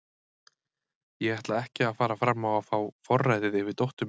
Ég ætla ekki að fara fram á að fá forræðið yfir dóttur minni.